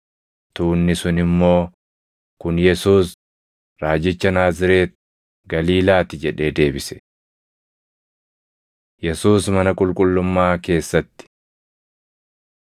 Tuunni sun immoo, “Kun Yesuus, raajicha Naazreeti Galiilaati” jedhee deebise. Yesuus Mana Qulqullummaa Keessatti 21:12‑16 kwf – Mar 11:15‑18; Luq 19:45‑47